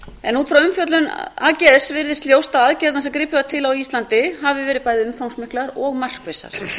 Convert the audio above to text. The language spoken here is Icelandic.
en út frá umfjöllun ags virðist ljóst að aðgerðirnar sem gripið var til á íslandi hafi verið bæði umfangsmiklar og markvissar